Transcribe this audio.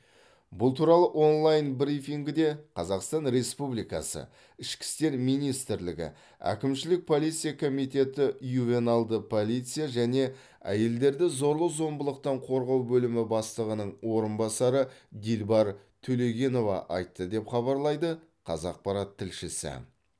бұл туралы онлайн брифингіде қазақстан республикасы ішкі істер министрлігі әкімшілік полиция комитеті ювеналды полиция және әйелдерді зорлық зомбылықтан қорғау бөлімі бастығының орынбасарыдилбар төлегенова айтты деп хабарлайды қазақпарат тілшісі